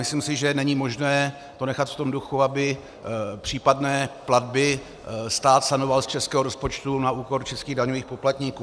Myslím si, že není možné to nechat v tom duchu, aby případné platby stát sanoval z českého rozpočtu na úkor českých daňových poplatníků.